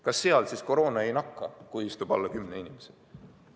Kas seal koroona ei nakka, kui istub alla 10 inimese?